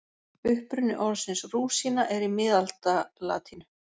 Uppruni orðsins rúsína er í miðaldalatínu.